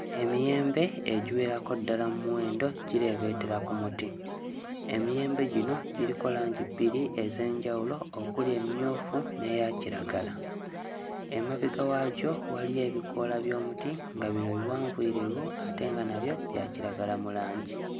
Emiyembe egiwerako ddala mu muwendo gireebeetera ku muti. Emiyembe gino giriko langi bbiri ez'enjawulo okuli emmyufu n'eya kiragala. Emabega waagyo waliyo ebikoola by'omuti nga bino biwanvuyirivu ate nga nabyo bya kiragala mu langi.